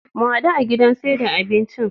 Mu hadu a gidan saida abincin